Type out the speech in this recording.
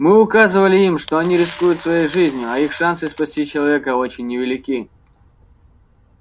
мы указывали им что они рискуют своей жизнью а их шансы спасти человека очень невелики